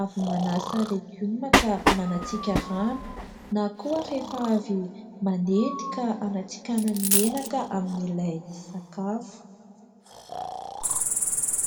avy manasa legioma ka manatsihaka rano na koa rehefa avy manendy ka hanatsikahana ny menaka amin'ilay sakafo.